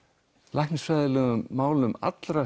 læknisfræðilegum málum allra